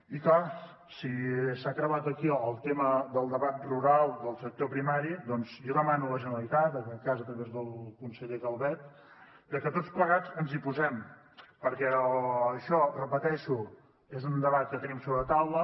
i clar si s’ha creuat aquí el tema del debat rural del sector primari doncs jo demano a la generalitat en aquest cas a través del conseller calvet que tots plegats ens hi posem perquè això ho repeteixo és un debat que tenim sobre la taula